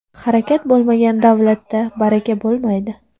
Harakat bo‘lmagan davlatda baraka bo‘lmaydi.